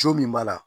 Co min b'a la